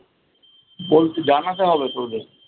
বলতে জানাতে হবে তো ওদের।